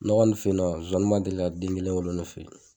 Ne kɔni fe yen nɔ zoani ma deli ka den kelen wolo ne fe ye.